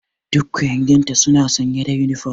Duk ƙuyanginta suna sanye da uniform.